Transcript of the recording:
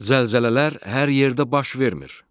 Zəlzələlər hər yerdə baş vermir.